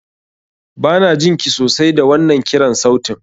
Banajin ki sosai da wannan kiran sautin.